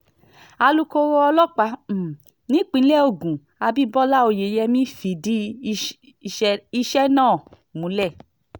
alūkkóró ọlọ́pàá um nípìnlẹ̀ ogun abibọlá oyeyèmí fìdí iṣẹ́ẹ náà múlẹ̀